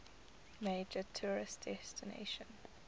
major tourist destination